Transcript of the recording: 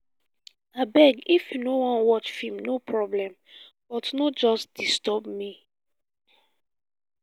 abeg if you no wan watch film no problem but no just disturb me